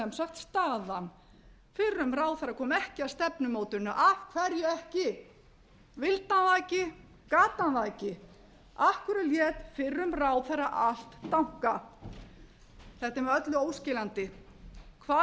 staðan fyrrum ráðherra kom ekki að stefnumótuninni af hverju ekki vildi hann það ekki gat hann það ekki af hverju lét fyrrum ráðherra allt dankast þetta er með öllu óskýrandi hvar